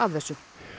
þessu